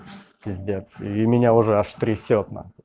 пиздец и меня уже аж трясёт нахуй